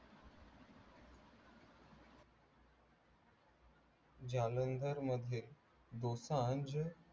जालंदर मध्ये दोसांज